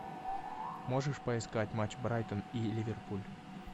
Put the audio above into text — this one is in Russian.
можешь поискать матч брайтон и ливерпуль